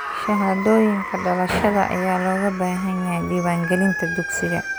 Shahaadooyinka dhalashada ayaa looga baahan yahay diiwaangelinta dugsiga.